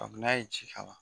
Kabi n'a ye ji kala